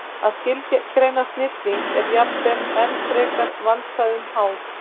Að skilgreina snilling er jafnvel enn frekar vandkvæðum háð.